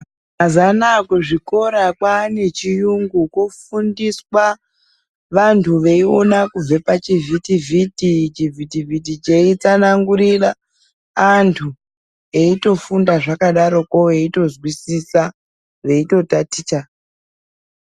Mazuvaanaa kuzvikora kwane chiyungu kwofundiswa vantu veiona kubve pachivhiti vhiti, chivhiti vhiti cheitsanangurira vantu veitofunda zvakadarokwo veitozwisisa veitotaticha.